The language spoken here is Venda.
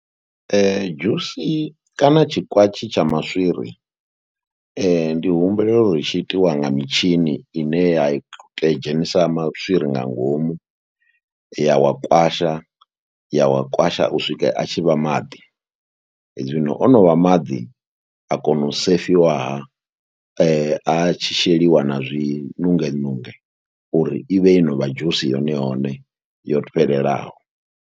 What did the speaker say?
Dzhusi kana tshikwatshi tsha maswiri ndi humbulela uri tshi itiwa nga mitshini ine ya dzhenisa maswiri nga ngomu ya wa kwasha, ya wa kwasha u swikela a tshi vha maḓi. Zwino o no vha maḓi a kona u sefiwaha, a tshi sheliwa na zwi nunge nunge uri i vhe yo no vha dzhusi yone yone yo fhelelaho.